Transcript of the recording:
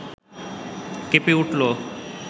কেঁপে উঠল